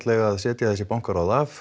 eiga að setja bankaráðin af